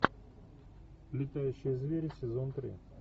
летающие звери сезон три